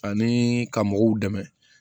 Ani ka mɔgɔw dɛmɛ